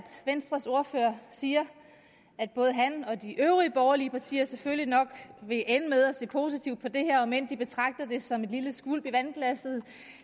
venstres ordfører siger at både han og de øvrige borgerlige partier selvfølgelig nok vil ende med at se positivt på det her om end de betragter det som et lille skvulp i vandglasset